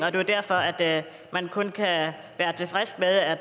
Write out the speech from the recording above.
er jo derfor at man kun kan være tilfreds med at